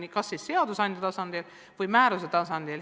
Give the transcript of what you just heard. See tuleb sätestada kas seaduse tasandil või määruse tasandil.